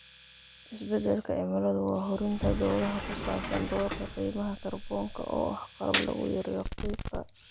Isbeddelka cimiladu waa hurinta doodaha ku saabsan doorka qiimaha kaarboonka oo ah qalab lagu yareeyo qiiqa.